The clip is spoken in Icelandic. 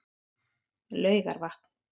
Laugarvatni